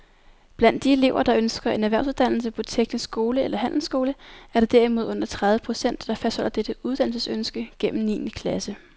Blandt de elever, der ønsker en erhvervsuddannelse på teknisk skole eller handelsskole, er der derimod under tredive procent, der fastholder dette uddannelsesønske gennem niende klasse.